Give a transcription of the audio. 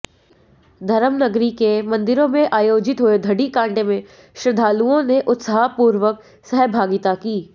धर्मनगरी के मंदिरों में आयोजित हुए दधिकांधे में श्रद्धालुओं ने उत्साहपूर्वक सहभागिता की